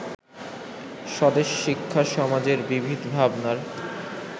স্বদেশ-শিক্ষা-সমাজের বিবিধ ভাবনার